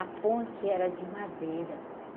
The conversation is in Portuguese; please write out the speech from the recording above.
A ponte era de madeira.